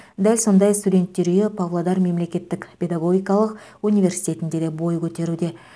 дәл сондай студенттер үйі павлодар мемлекеттік педагогикалық университетінде де бой көтеруде